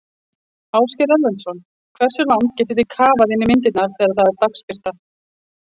Ásgeir Erlendsson: Hversu langt getið þið kafað inn í myndirnar þegar það er dagsbirta?